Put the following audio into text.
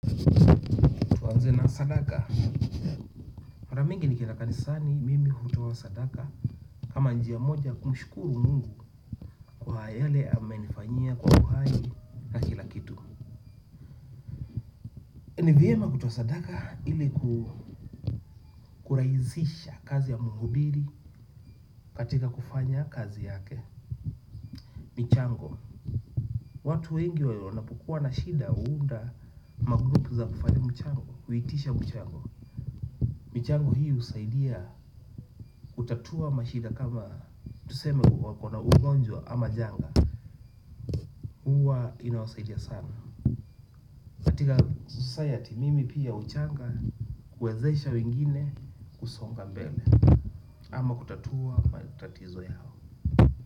Mara mingi nikienda kanisani mimi hutoa sadaka. Kama njia moja ya kumshukuru mungu kwa yale amenifanyia kwa uhai ni vyema kutoa sadaka ili kukurahisisha kazi ya muhubiri katika kufanya kazi yake. Michango, watu wengi wanapokuwa na shida huunda magrupu za kufanya mchango, huitisha mchango. Michango hi husaidia kutatua mashida kama tuseme kuwa wako na ugonjwa ama janga. Huwa inawasaidia sana katika society mimi pia huchanga. Kuwezesha wingine kusonga mbele ama kutatua matatizo yao.